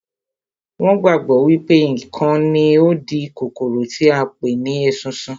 Wọn gbàgbọ́ wípé ikán ni ó ń di kòkòrò tí à ń pè ní esunsun